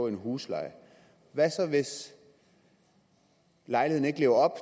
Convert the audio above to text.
en husleje hvad så hvis lejligheden ikke lever op